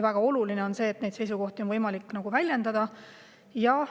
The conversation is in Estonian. Väga oluline on see, et neid seisukohti on võimalik väljendada.